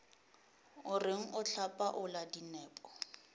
o reng o hlapaola dinepo